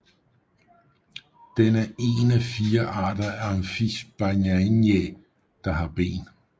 Den er en af fire arter af Amphisbaenia der har ben